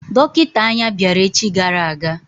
Dọkịta anya bịara echi gara aga.